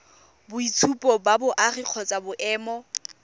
boitshupo ba boagi kgotsa boemo